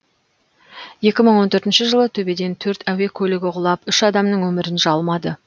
екі мың он төртінші жылы төбеден төрт әуе көлігі құлап үш адамның өмірін жалмады